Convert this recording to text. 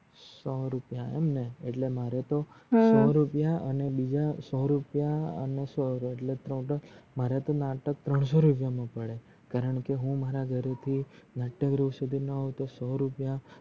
સો રૂપયા એમ ને એટલે મારે તો હમ સો રૂપયા અને બીજા સો રૂપયા અને સો મારે તો નાટક ત્રણસો રૂપયા મા પડે કારણકે મારા ઘરે થી નાટ્યગૃહ સુધી ના સો રૂપયા